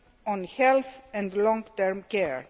on health and long term care.